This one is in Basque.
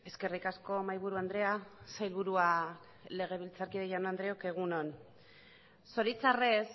eskerrik asko mahaiburu andrea sailburua legebiltzarkideok egun on zoritxarrez